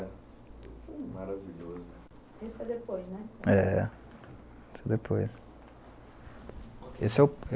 É. Maravilhoso. Isso é depois né. É, isso é depois. Esse é o